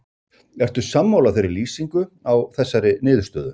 Ertu sammála þeirri lýsingu á þessari niðurstöðu?